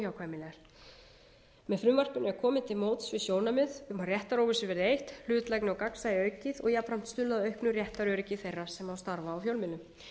óhjákvæmilegar með frumvarpinu er komið til móts við sjónarmið um að réttaróvissu verði eytt hlutlægi og gagnsæi aukið og jafnframt stuðlað að auknu réttaröryggi þeirra sem starfa á fjölmiðlum